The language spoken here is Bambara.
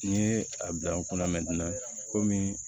N'i ye a bila n kunna komi